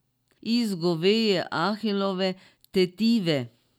Iz goveje ahilove tetive!